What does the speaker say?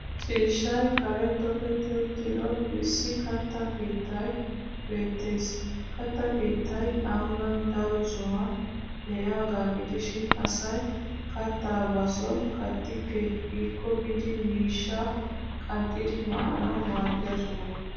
Ciishshay Karen toketti uttido issi katta keettay beettes. Katta keettay ambban daro sohuwan de'iyaagaa gidishin asay kattaa ba son kattikke giikko biidi miishshaa qanxxidi maanawu maaddiya soho.